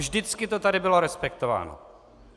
Vždycky to tady bylo respektováno!